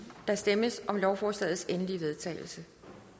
der stemmes om lovforslagets endelige vedtagelse